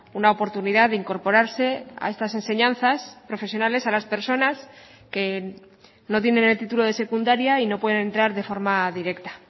una oportunidad de incorporarse a estas enseñanzas profesionales a las personas que no tienen el título de secundaria y no pueden entrar de forma directa